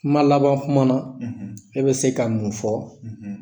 Kuma laban kuma na e bɛ se ka mun fɔ